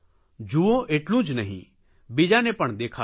જુઓ એટલું જ નહીં બીજાને પણ દેખાડો